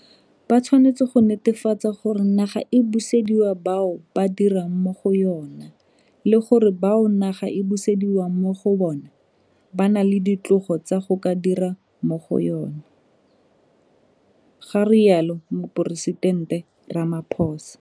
Ba tshwanetse go netefatsa gore naga e busediwa bao ba dirang mo go yona le gore bao naga e busediwang mo go bona ba na le ditlogo tsa go ka dira mo go yona, ga rialo Moporesitente Ramaphosa.